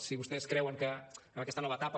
si vostès creuen que en aquesta nova etapa